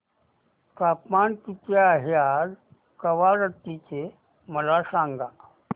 तापमान किती आहे आज कवारत्ती चे मला सांगा